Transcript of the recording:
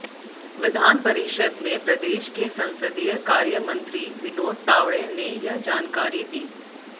विधान परिषद में प्रदेश के संसदीय कार्य मंत्री विनोद तावडे ने यह जानकारी दी